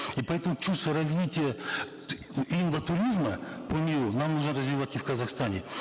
и поэтому чувство развития инватуризма по миру нам нужно развивать и в казахстане